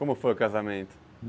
Como foi o casamento?